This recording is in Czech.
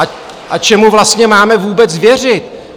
A čemu vlastně máme vůbec věřit?